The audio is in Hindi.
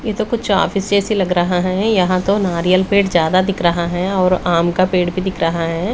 ये तो कुछ ऑफिस जैसे लग रहा हैं यहाँ तो नारियल पेड़ ज्यादा दिख रहा है और आम का पेड़ भी दिख रहा हैं।